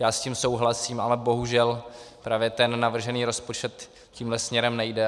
Já s tím souhlasím, ale bohužel právě ten navržený rozpočet tímhle směrem nejde.